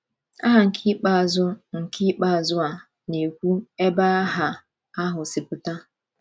Aha nke ikpeazụ a nke ikpeazụ a na-ekwu ebe aha ahụ si pụta